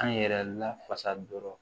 An yɛrɛ lafasa dɔrɔn